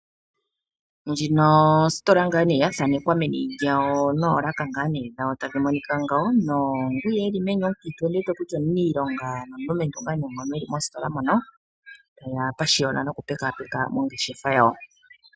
Ndjino ositola yathanekwa ngaa nee meni lyayo noolaka ngaa nee dhayo naangwiya eli meni ondiwete kutya omuniilonga napashiyona niku lekapeka ongeshefa yawo